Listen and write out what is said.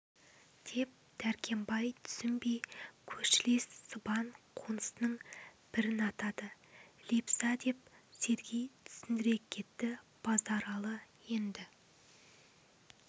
деп дәркембай тусінбей көршілес сыбан қонысының бірін атады лепса деп сергей түсіндіре кетті базаралы енді